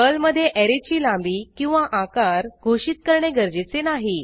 पर्लमधे ऍरेची लांबी किंवा आकार घोषित करणे गरजेचे नाही